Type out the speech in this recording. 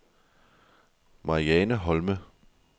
Mariane Holme